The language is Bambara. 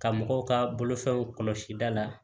Ka mɔgɔw ka bolofɛnw kɔlɔsi da la